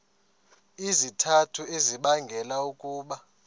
izizathu ezibangela ukuba